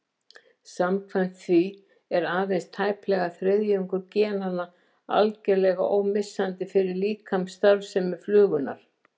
Samkvæmt því er aðeins tæplega þriðjungur genanna algerlega ómissandi fyrir líkamsstarfsemi flugunnar.